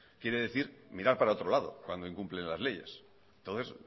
quiere decir mirar para otro lado cuando incumplen las leyes entonces